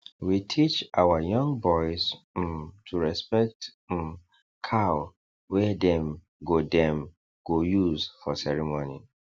we teach our young boys um to respect um cow wey dem go dem go use for ceremony